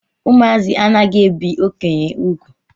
Ụmụazị anaghị ebi okenye úgwù.